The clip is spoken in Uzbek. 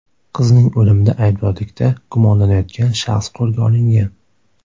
Qizning o‘limida aybdorlikda gumonlanayotgan shaxs qo‘lga olingan.